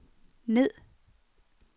ned